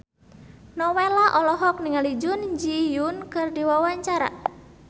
Nowela olohok ningali Jun Ji Hyun keur diwawancara